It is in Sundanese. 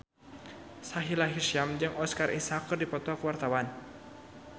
Sahila Hisyam jeung Oscar Isaac keur dipoto ku wartawan